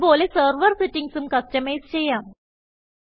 ഇത് പോലെ സെർവർ സെറ്റിംഗ്സും കസ്റ്റമൈസ് ചെയ്യാം